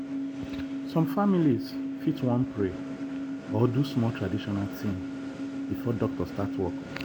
some families fit wan pray or do small traditional thing before doctor start work.